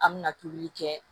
An mɛna tobili kɛ